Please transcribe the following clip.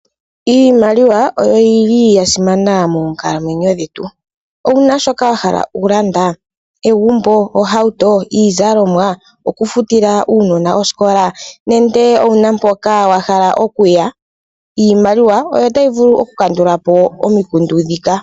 Iimaliwa oyoyili ya simana moonkalamwenyo dhetu, owuna shoka wahala oku landa egumbo, ohauto, iizalomwa, oku futila uunona oskola nenge owuna mpoka wahala okuya, iimaliwa oyo tayi vulu oku kandulapo omikundu dhika.